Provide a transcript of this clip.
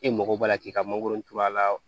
E mago b'a la k'i ka mangoro turu a la